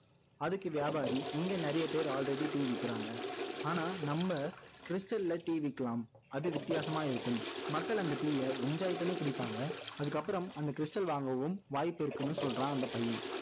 அதுக்கு வியாபாரி இங்க நிறைய பேரு already tea விக்கிறாங்க ஆனா நம்ம stal ல tea விக்கலாம் அது வித்யாசமா இருக்கும் மக்கள் அந்த tea ய enjoy பண்ணி குடிப்பாங்க அதுக்கப்புறம் அந்த stal வாங்கவும் வாய்ப்பு இருக்குன்னு சொல்றான் அந்த பையன்